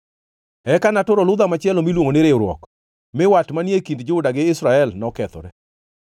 Eka naturo ludha machielo miluongo ni riwruok, mi wat manie kind Juda gi Israel nokethore.